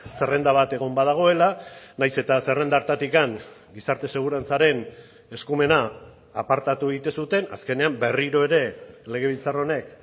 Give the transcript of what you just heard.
zerrenda bat egon badagoela nahiz eta zerrenda hartatik gizarte segurantzaren eskumena apartatu egiten zuten azkenean berriro ere legebiltzar honek